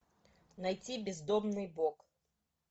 найти бездомный бог